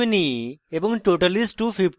name is: ashwini এবং